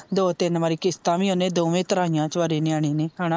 ਦੋ ਤੀਨ ਵਾਰੀ ਕਿਸਤਾ ਵੀ ਓਨੇ ਦੋਵੇਂ ਧਰਾਇਆ ਚੁਆਰੇ ਨਿਆਣੇ ਨੇ ਹਣਾ।